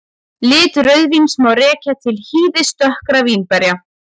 Lit rauðvíns má rekja til hýðis dökkra vínberja.